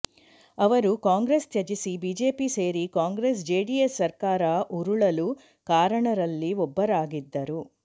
ಅವರು ಕಾಂಗ್ರೆಸ್ ತ್ಯಜಿಸಿ ಬಿಜೆಪಿ ಸೇರಿ ಕಾಂಗ್ರೆಸ್ ಜೆಡಿಎಸ್ ಸರ್ಕಾರ ಉರುಳಲು ಕಾರಣರಲ್ಲಿ ಒಬ್ಬರಾಗಿದ್ದರು